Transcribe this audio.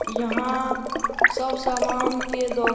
यहां सब सामान के दोका --